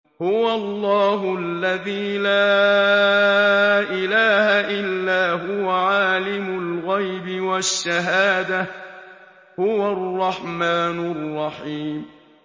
هُوَ اللَّهُ الَّذِي لَا إِلَٰهَ إِلَّا هُوَ ۖ عَالِمُ الْغَيْبِ وَالشَّهَادَةِ ۖ هُوَ الرَّحْمَٰنُ الرَّحِيمُ